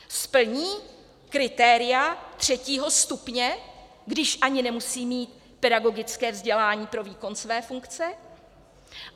Splní kritéria třetího stupně, když ani nemusí mít pedagogické vzdělání pro výkon své funkce?